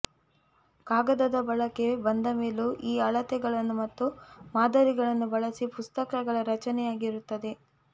ಕಾಗದದ ಬಳಕೆ ಬಂದಮೇಲೂ ಈ ಅಳತೆಗಳನ್ನು ಮತ್ತು ಮಾದರಿಗಳನ್ನು ಬಳಸಿ ಪುಸ್ತಕಗಳ ರಚನೆಯಾಗಿರುತ್ತದೆ